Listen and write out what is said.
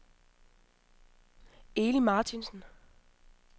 Eli Martinsen